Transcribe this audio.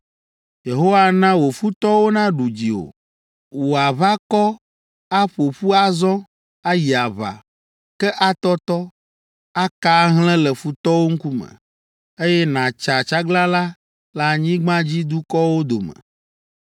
“Yehowa ana wò futɔwo naɖu dziwò. Wò aʋakɔ aƒo ƒu azɔ ayi aʋa, ke atɔtɔ, aka ahlẽ le futɔwo ŋkume, eye nàtsa tsaglalã le anyigbadzidukɔwo dome.